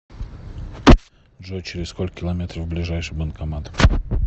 джой через сколько километров ближайший банкомат